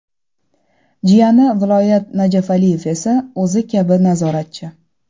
Jiyani Viloyat Najafaliyev esa o‘zi kabi nazoratchi.